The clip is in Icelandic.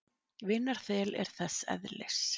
Vinarþel er þess eðlis.